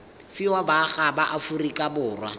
fiwa baagi ba aforika borwa